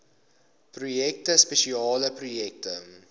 projekte spesiale projekte